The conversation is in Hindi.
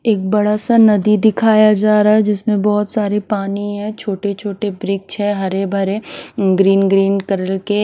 एक बड़ा सा नदी दिखाया जा रहा है जिसमें बहुत सारे पानी है छोटे-छोटे ब्रिच है हरे भरे ग्रीन ग्रीन कलर के--